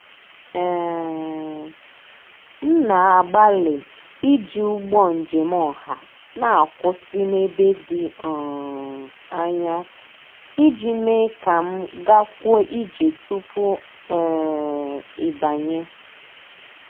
um M na-agbalị iji ụgbọ njem ọha na-akwụsị n'ebe dị um anya ij mee ka m gakwuo ije tupu um ịbanye.